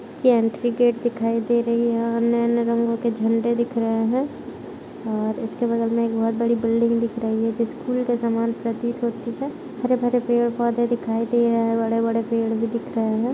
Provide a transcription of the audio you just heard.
इसकी entry gate दिखाई दे रही है। अन्य-अन्य रंगों के झंडे दिख रहे हैं और इसके बगल में एक बहुत बड़ी बिल्डिंग दिख रही है जो स्कूल के समान प्रतीत होती है हरे-भरे पेड़-पौधे दिखाई दे रहे हैं बड़े-बड़े पेड़ भी दिख रहे हैं।